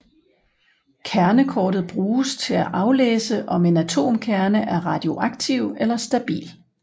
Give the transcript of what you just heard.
Kernekortet bruges til at aflæse om en atomkerne er radioaktiv eller stabil